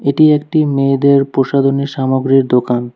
এটি একটি মেয়েদের প্রসাদনী সামগ্রীর দোকান।